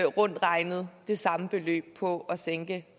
rundt regnet det samme beløb på at sænke